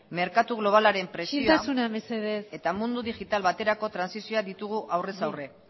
merkatu globalaren presioa isiltasuna mesedez eta mundu digital baterako transizioa ditugu aurrez aurre